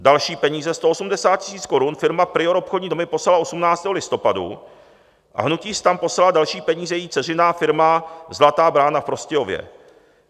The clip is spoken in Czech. Další peníze, 180 000 korun, firma PRIOR, obchodní domy, poslala 18. listopadu a hnutí STAN poslala další peníze její dceřiná firma Zlatá Brána v Prostějově.